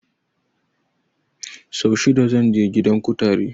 Sau shida zan je gidan kutare